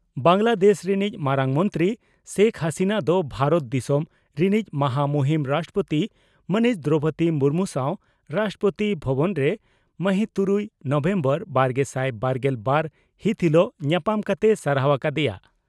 ᱵᱟᱝᱜᱞᱟ ᱫᱮᱥ ᱨᱤᱱᱤᱡ ᱢᱟᱨᱟᱝ ᱢᱚᱱᱛᱨᱤ ᱥᱮᱠ ᱦᱟᱹᱥᱤᱱᱟᱹ ᱫᱚ ᱵᱷᱟᱨᱚᱛ ᱫᱤᱥᱚᱢ ᱨᱤᱱᱤᱡ ᱢᱟᱦᱟ ᱢᱩᱦᱤᱱ ᱨᱟᱥᱴᱨᱚᱯᱳᱛᱤ ᱢᱟᱹᱱᱤᱡ ᱫᱨᱚᱣᱯᱚᱫᱤ ᱢᱩᱨᱢᱩ ᱥᱟᱣ ᱨᱟᱥᱴᱨᱚᱯᱳᱛᱤ ᱵᱷᱚᱵᱚᱱ ᱨᱮ ᱢᱟᱹᱦᱤᱛᱩᱨᱩᱭ ᱱᱚᱵᱷᱮᱢᱵᱚᱨ ᱵᱟᱨᱜᱮᱥᱟᱭ ᱵᱟᱨᱜᱮᱞ ᱵᱟᱨ ᱦᱤᱛ ᱦᱤᱞᱚᱜ ᱧᱟᱯᱟᱢ ᱠᱟᱛᱮᱭ ᱥᱟᱨᱦᱟᱣ ᱟᱠᱟ ᱫᱮᱭᱟ ᱾